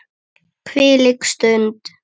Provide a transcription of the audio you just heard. Hvílík stund.